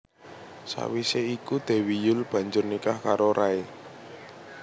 Sawisé iku Dewi Yull banjur nikah karo Ray